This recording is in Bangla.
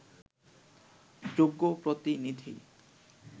যোগ্য প্রতিনিধি